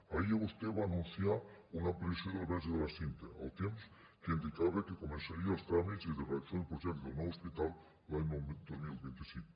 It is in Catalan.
ahir vostè va anunciar una ampliació del verge de la cinta al temps que indicava que començaria els tràmits i la redacció del projecte del nou hospital l’any dos mil vint cinc